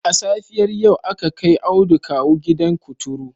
A safiyar yau aka kai Audu kawu gidan kuturu